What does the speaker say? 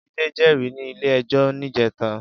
Jide jèrí ni ilé èjò nijètá